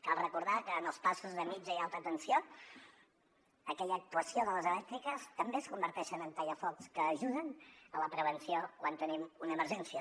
cal recordar que en els passos de mitja i alta tensió aquella actuació de les elèctriques també es converteix en tallafocs que ajuden a la prevenció quan tenim una emergència